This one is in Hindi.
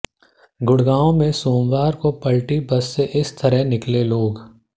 गुडग़ांव में सोमवार को पलटी बस से इस तरह निकले लोग